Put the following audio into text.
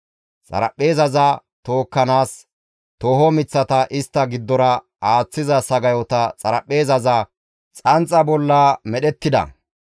Xaraphpheezaza tookkanaas tooho miththata istta giddora aaththiza sagayoti xaraphpheezaza xanxa bolla medhettida.